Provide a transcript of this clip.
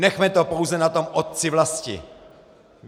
Nechme to pouze na tom Otci vlasti.